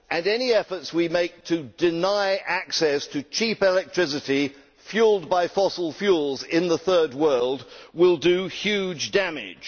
Any efforts we make to deny access to cheap electricity fuelled by fossil fuels in the Third World will do huge damage.